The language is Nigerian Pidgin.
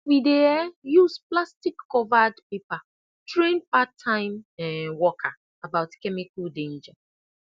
we dey um use plastic covered paper train part time um worker about chemical danger